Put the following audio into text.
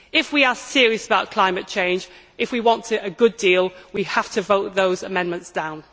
If we are serious about climate change, if we want a good deal, we have to vote those amendments down.